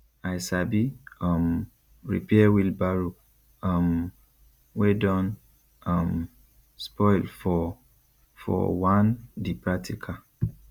i sabi um repair wheelbarrow um wey don um spoil for for one di practical